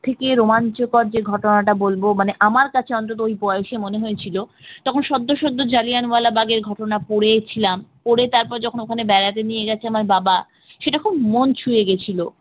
সবথেকে রোমাঞ্চকর যে ঘটনাটা বলব মানে আমার কাছে ওই বয়সে অন্তত মনে হয়েছিল তখন সত্য সদ্য জালিয়ানওয়ালাবাগের ঘটনা পড়েছিলাম পড়ে তারপরে যখন ওখানে বেড়াতে নিয়ে গেছে আমার বাবা সেটা খুব মন ছুয়ে গেছিল